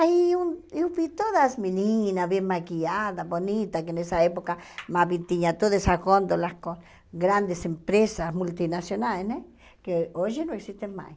Aí eu eu vi todas as meninas bem maquiadas, bonitas, que nessa época tinha todas essas gôndolas com grandes empresas multinacionais né, que hoje não existem mais.